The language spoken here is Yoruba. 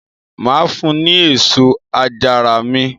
Mà á fun ní èso àjàrà mi.